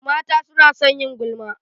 Mata suna son yin gulma.